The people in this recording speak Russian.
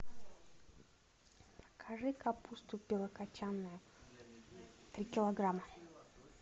закажи капусту белокачаная три килограмма